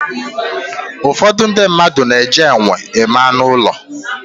Ụfọdụ ndị mmadụ na-eji enwe eme anụ ụlọ.